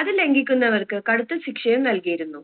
അത് ലംഗിക്കുന്നവർക്ക് കടുത്ത ശിക്ഷയും നൽകിയിരുന്നു